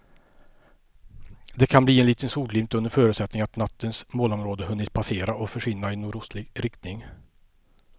Det kan bli en liten solglimt under förutsättning att nattens molnområde hunnit passera och försvinna i nordostlig riktning.